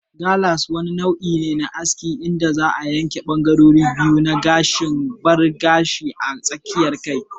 Gallas wani nau'i ne na aski inda za'a yanke bangarorin biyu na gashin bar gashi a tsakiyar kai.